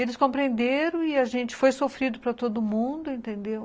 Eles compreenderam e a gente foi sofrido para todo mundo, entendeu?